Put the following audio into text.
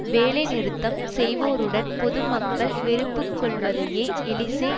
வேலைநிறுத்தம் செய்வோருடன் பொதுமக்கள் வெறுப்புக்கொள்வதையே எலிசே